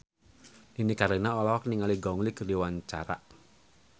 Nini Carlina olohok ningali Gong Li keur diwawancara